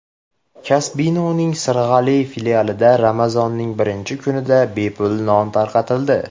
Kasbino‘ning Sirg‘ali filialida Ramazonning birinchi kunida bepul non tarqatildi.